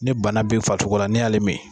Ni bana be farisogola n'i y'ale min